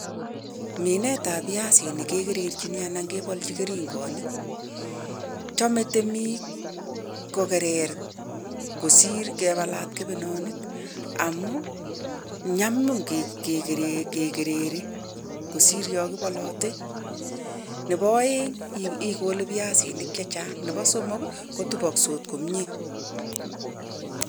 Minetab piasinik kekererchini alan kebolji keringonik. Chome temik kokerer kosir kebalat kebenonik amun nyanyum kekereri kosir yon kibolote nebo oeng' ikole piasinik chechang' nebo somok kotupokse komie.